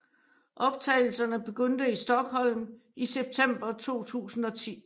Optagelserne begyndte i Stockholm i september 2010